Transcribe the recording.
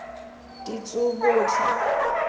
ditsobotla